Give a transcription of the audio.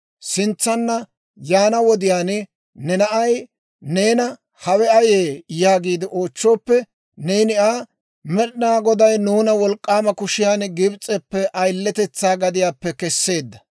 Sintsanna yaana wodiyaan ne na'ay neena, ‹Hawe ayee?› yaagiide oochchooppe, neeni Aa, ‹Med'inaa Goday nuuna wolk'k'aama kushiyaan Gibs'eppe, ayiletetsaa gadiyaappe kesseedda;